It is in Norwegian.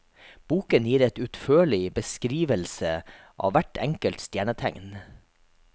Boken gir et utførlig beskrivelse av hvert enkelt stjernetegn.